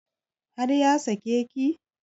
Har ya sake ki?